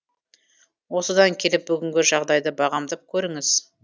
осыдан келіп бүгінгі жағдайды бағамдап көріңіз